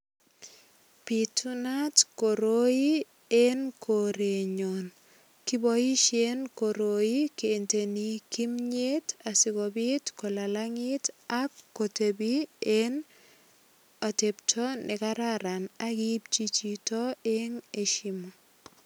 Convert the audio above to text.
Bitunat kiroi en korenyun. Kiboisien koroi kenteni kimnyet asikopit kolalangit ak kotepi en atepto ne kararan ak ipchi chito eng eshimu.